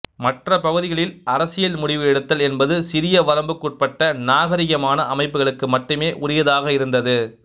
மற்ற பகுதிகளில் அரசியல் முடிவு எடுத்தல் என்பது சிறிய வரம்புக்குட்பட்ட நாகரிகமான அமைப்புகளுக்கு மட்டுமே உரியதாக இருந்தது